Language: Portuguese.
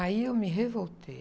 Aí eu me revoltei.